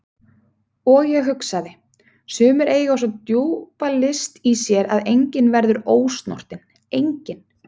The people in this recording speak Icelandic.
Og ég hugsaði: Sumir eiga svo djúpa list í sér að enginn verður ósnortinn, enginn.